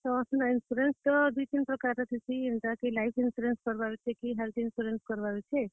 ହଁ, insurance ତ ଦୁଇ, ତିନ୍ ପ୍ରକାର୍ ର ଥିସି, ଯେନ୍ତା କି life insurance କରବାର ଅଛେ କି health insurance କରବାର ଅଛେ?